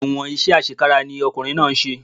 Ẹ̀wọ̀n iṣẹ́ àṣekára ni ọkùnrin náà ń ṣe